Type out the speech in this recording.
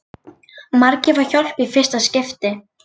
Margir fá hjálp í fyrsta skipti